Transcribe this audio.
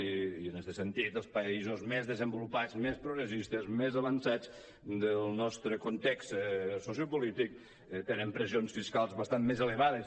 i en este sentit els països més desenvolupats més progressistes més avançats del nostre context sociopolític tenen pressions fiscals bastant més elevades